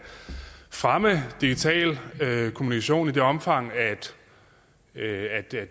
fremme digital kommunikation i det omfang at